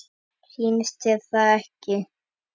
Sýnist þér það ekki?